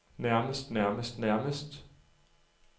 nærmest nærmest nærmest